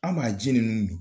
An b'a ji ninnu min.